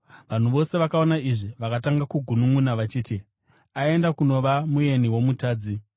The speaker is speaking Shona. Vanhu vose vakaona izvi vakatanga kugununʼuna vachiti, “Aenda kunova mueni wo‘mutadzi.’ ”